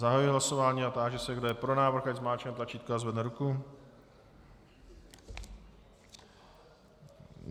Zahajuji hlasování a táži se, kdo je pro návrh, ať zmáčkne tlačítko a zvedne ruku.